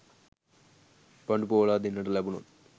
පඬු පොවලා දෙන්නට ලැබුනොත්